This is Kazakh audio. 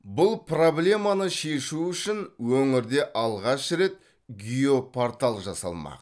бұл проблеманы шешу үшін өңірде алғаш рет геопортал жасалмақ